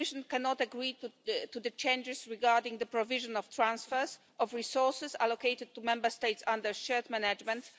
The Commission cannot agree to the changes regarding the provision of transfers, of resources allocated to Member States under shared management.